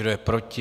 Kdo je proti?